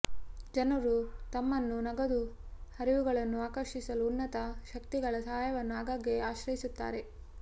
ಜನರು ತಮ್ಮನ್ನು ನಗದು ಹರಿವುಗಳನ್ನು ಆಕರ್ಷಿಸಲು ಉನ್ನತ ಶಕ್ತಿಗಳ ಸಹಾಯವನ್ನು ಆಗಾಗ್ಗೆ ಆಶ್ರಯಿಸುತ್ತಾರೆ